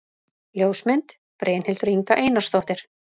Ljósmynd: Brynhildur Inga Einarsdóttir